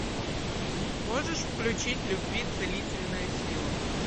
можешь включить любви целительная сила